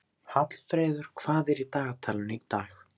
Hallfreður, hvað er í dagatalinu í dag?